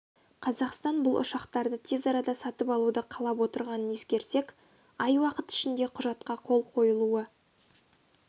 қазақстан бұл ұшақтарды тез арада сатып алуды қалап отырғанын ескерсек ай уақыт ішінде құжатқа қол қойылуы